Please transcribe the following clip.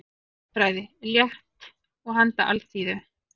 Stjörnufræði, létt og handa alþýðu.